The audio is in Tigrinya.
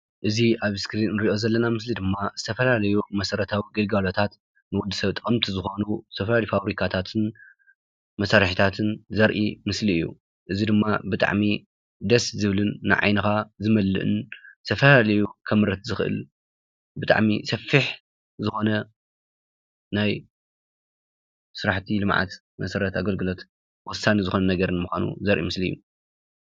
እዚ ኣብ ስክሪን ንሪኦ ዘለና ምስሊ ድማ ዝተፈላለዩ መሰረታዊ ግልጋሎታት ንወዲ ሰብ ጠቐምቲ ዝኾኑ ዝተፈላለዩ ፋብሪካታትን መሳርሕታትን ዘርኢ ምስሊ እዩ፡፡ እዚ ድማ ብጣዕሚ ደስ ዝብልን ንዓይንኻ ዝመልእን ዝተፈላለዩ ከምርት ዝኽእል ብጣዕሚ ሰፊሕ ዝኾነ ናይ ስራሕቲ ልምዓት መሰረተ ኣገልግሎት ወሳኒ ዝኮነ ነገር ንምዃኑ ዘርኢ ምስሊ እዩ፡፡